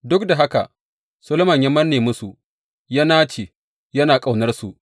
Duk da haka Solomon ya manne musu, ya nace, yana ƙaunarsu.